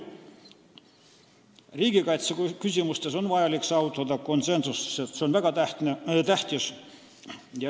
Riigikaitseküsimustes on vaja saavutada konsensus, mis on väga tähtis.